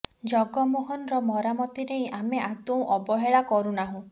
ଜଗମୋହନର ମରାମତି ନେଇ ଆମେ ଆଦୌ ଅବହେଳା କରୁ ନାହୁଁ